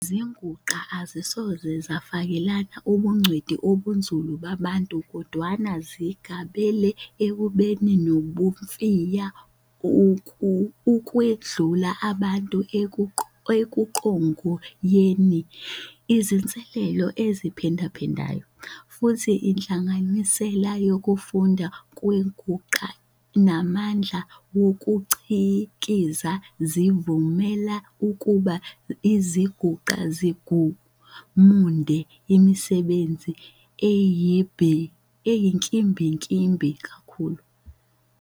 Izinguxa azisoze zafakelela ubungcweti obunzulu babantu kodwana zigabele ekubeni nobunomfiya ukwedlula abantu ekuqhogoyeni izinsebenzo eziphindaphindayo, futhi inhlanganisela yokufunda kwenguxa namandla wokuCikiza zivumela ukuba izinguxa zigununde imisebenzi eyinkimbinkimbi kakhulu.